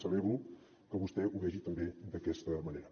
celebro que vostè ho vegi també d’aquesta manera